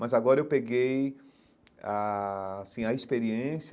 Mas agora eu peguei a assim a experiência.